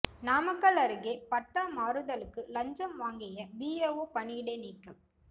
நாமக்கல் அருகே பட்டா மாறுதலுக்கு லஞ்சம் வாங்கிய விஏஓ பணியிடை நீக்கம்